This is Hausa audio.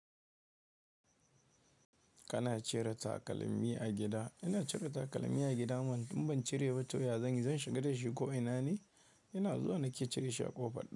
Kana cire takalmi a gida? Ina cire takalmi a gida mana, in ban cire ba to ya zanyi, zan shiga da shi ko ina ne? Ina zuwa nake cire shi a ƙofa.